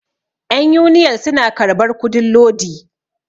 yan uniyal suna karbar kudin lodi